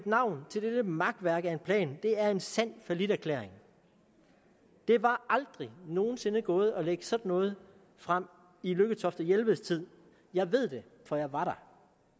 navn til dette makværk af en plan er en sand falliterklæring det var aldrig nogen sinde gået at lægge sådan noget frem i lykketoft og jelveds tid jeg ved det for jeg var der